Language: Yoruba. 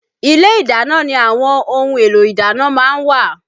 Ilé ìdáná ni àwọn ohun èlò ìdáná má ń wà